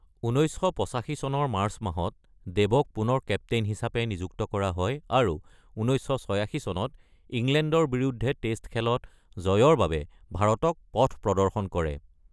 ১৯৮৫ চনৰ মাৰ্চ মাহত দেৱক পুনৰ কেপটেইন হিচাপে নিযুক্ত কৰা হয় আৰু ১৯৮৬ চনত ইংলেণ্ডৰ বিৰুদ্ধে টেষ্ট খেলত জয়ৰ বাবে ভাৰতক পথ প্ৰদৰ্শন কৰে।